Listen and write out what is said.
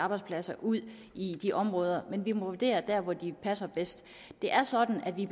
arbejdspladser ud i de områder men vi må vurdere hvor de passer bedst det er sådan at vi